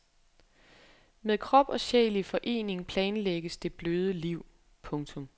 Med krop og sjæl i forening planlægges det bløde liv. punktum